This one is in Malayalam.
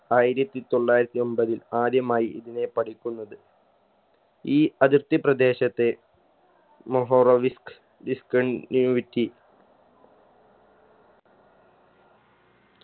ആയിരത്തി തൊള്ളായിരത്തി എമ്പതിൽ ആദ്യമായി ഇതിനെ പഠിക്കുന്നത് ഈ അതിർത്തി പ്രദേശത്തെ മോഹോറോ വിസ്‌ക് discontinuity